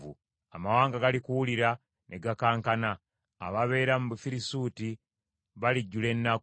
Amawanga galikiwulira ne gakankana, ababeera mu Bufirisuuti balijjula ennaku.